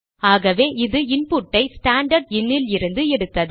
ஆகவே அது இன்புட்டை ஸ்டாண்டர்ட் இன் லிருந்து எடுத்தது